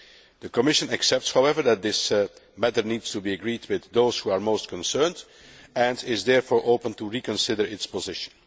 The Commission accepts, however, that this matter needs to be agreed with those who are most concerned, and is therefore open to reconsidering its position.